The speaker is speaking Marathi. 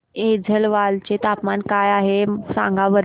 आज ऐझवाल चे तापमान काय आहे सांगा बरं